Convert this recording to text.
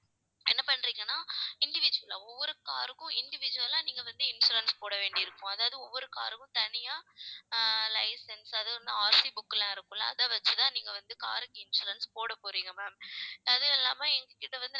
என்ன பண்றீங்கன்னா individual ஆ ஒவ்வொரு car க்கும் individual ஆ நீங்க வந்து insurance போட வேண்டியிருக்கும். அதாவது ஒவ்வொரு car க்கும் தனியா ஆஹ் licence அதுவும் வந்து RCbook எல்லாம் இருக்கும்ல அதை வச்சுதான் நீங்க car க்கு insurance போட போறீங்க ma'am அது இல்லாம இதை வந்து